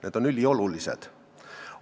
Need on üliolulised.